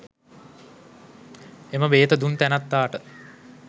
එම බේත දුන් තැනැත්තාට